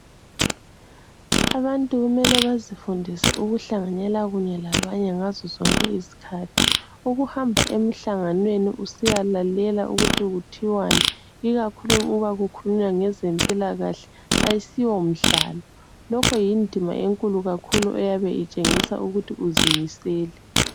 Abantu kumele bazifundise ukuhlanganela kunye labanye ngazo zonke izikhathi, ukuhamba emhlanganweni usiyalalela ukuthi kuthiwani ikakhulu uma kukhulunywa ngezempila kahle, ayisiwo mdlalo lokho yindima enkulu kakhulu eyabe itshengisa ukuthi uzimisele.